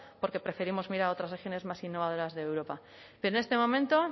porque preferimos mirar a otras regiones más innovadoras de europa pero en este momento